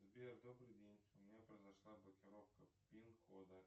сбер добрый день у меня произошла блокировка пин кода